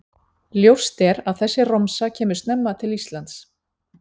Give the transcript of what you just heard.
Ljóst er að þessi romsa kemur snemma til Íslands.